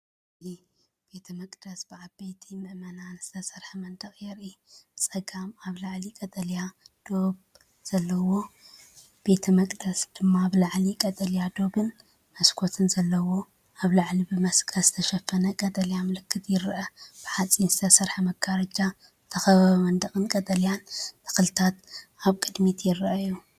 እዚ ቤተ መቕደስን ብዓበይቲ ኣእማን ዝተሰርሐ መንደቕን የርኢ። ብጸጋም ኣብ ላዕሊ ቀጠልያ ዶብ ዘለዎ ቤተ መቕደስ ድማ ብላዕሊ ቀጠልያዶብን መስኮትን ዘለዎ፣ ኣብ ላዕሊ ብመስቀል ዝተሸፈነ ቀጠልያ ምልክት ይርአ። ብሓጺን ዝተሰርሐ መጋረጃ ዝተኸበበ መንደቕን ቀጠልያ ተኽልታትን ኣብ ቅድሚት ይራኣዩ።